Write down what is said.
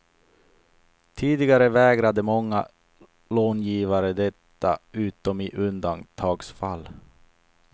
Tidigare vägrade många långivare detta utom i undantagsfall.